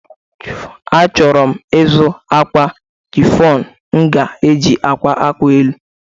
Achọrọ m ịzụ akwa chịfọn m ga-eji a kwa efe elu.